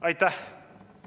Aitäh!